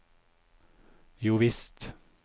jovisst